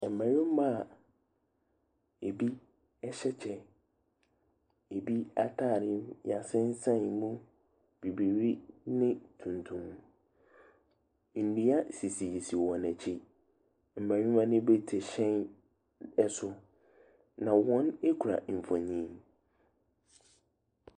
Mmarima a ebi ɛhyɛ kyɛ, ebi ataare yasensɛn mu, bibire ne tuntum. Nnua sisi sisi wɔn akyi. Mmarima ne bi te hyɛn ɛso. Na wɔn ekura mfoni.